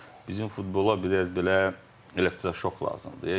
Bizim futbola biraz belə elektroşok lazımdır.